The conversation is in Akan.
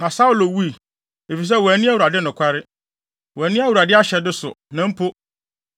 Na Saulo wui, efisɛ wanni Awurade nokware. Wanni Awurade ahyɛde so, na mpo, ɔkɔɔ asamanfrɛ